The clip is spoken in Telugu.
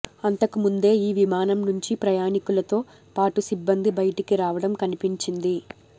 అంతకుముందే ఈ విమానం నుంచి ప్రయాణికులతో పాటు సిబ్బంది బయటికి రావడం కనిపించింది